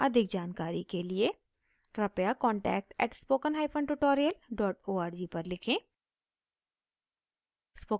अधिक जानकारी के लिए कृपया contact @spokentutorial org पर लिखें